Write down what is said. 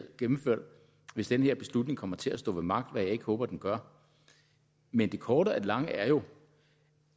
gennemført hvis den her beslutning kommer til at stå ved magt hvad jeg ikke håber den gør men det korte af det lange er jo